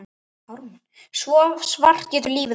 Svo svart getur lífið orðið.